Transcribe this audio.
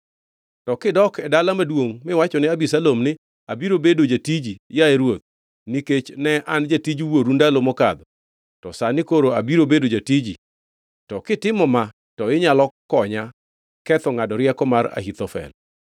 To kidok e dala maduongʼ miwachone Abisalom ni, ‘Abiro bedo jatiji, yaye ruoth; nikech ne an jatij wuonu ndalo mokadho, to sani koro abiro bedo jatiji,’ to kitimo ma to inyalo konya ketho ngʼado rieko mar Ahithofel.